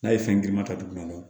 N'a ye fɛn girinma ta duguma o